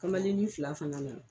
Kamalennin fila fana nana.